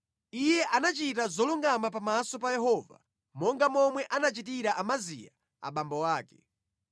Iye anachita zolungama pamaso pa Yehova, monga momwe anachitira Amaziya abambo ake.